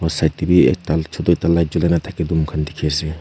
side de b ekta chutu ekta light julai na thake tu moikhan dikhi ase.